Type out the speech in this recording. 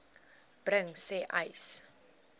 bring sê uys